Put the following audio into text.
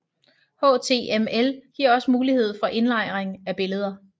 HTML giver også mulighed for indlejring af billeder